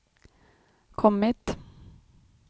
kommit